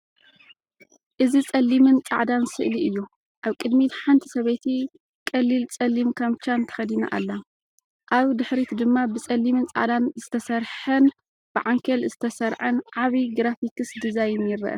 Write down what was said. እዚ ጸሊምን ጻዕዳን ስእሊ እዩ። ኣብ ቅድሚት ሓንቲ ሰበይቲ ቀሊል ጸሊም ካምቻን ተኸዲና ኣላ። ኣብ ድሕሪት ድማ ብጸሊምን ጻዕዳን ዝተሰርሐን ብዓንኬል ዝተሰርዐን ዓቢ ግራፊክ ዲዛይን ይርአ።